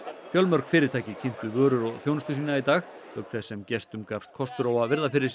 fjölmörg fyrirtæki kynntu vörur og þjónustu sína í dag auk þess sem gestum gafst kostur á að virða fyrir sér